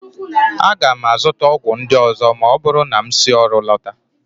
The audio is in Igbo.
Aga m azụta ọgwụ ndị ọzọ ma ọ bụrụ na m si ọrụ lọta